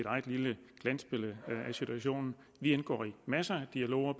eget lille glansbillede af situationen vi indgår i masser af dialoger